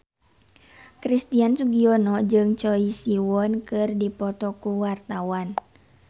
Christian Sugiono jeung Choi Siwon keur dipoto ku wartawan